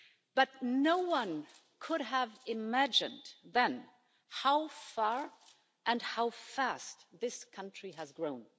But no one could have imagined then how far and how fast this country has grown.